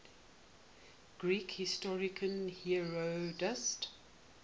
greek historian herodotus